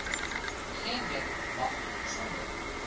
geeneen mag sonder